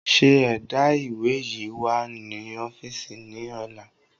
ṣe ẹ̀dá ìwé yíi wá ni ọ́fíìsì ni ọ̀la!